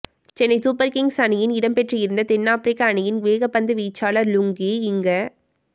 Chennai Super Kings அணியில் இடம்பெற்றிருந்த தென்னாபிரிக்க அணியின் வேகப்பந்து வீச்சாளர் லுங்கி இங்க